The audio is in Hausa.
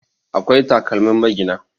akwai takalmin magina